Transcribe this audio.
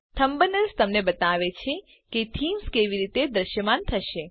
thumbnails તમને બતાવે છે કે થીમ્સ કેવી રીતે દ્રશ્યમાન થશે